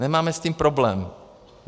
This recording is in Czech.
Nemáme s tím problém.